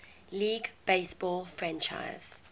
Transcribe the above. league baseball franchise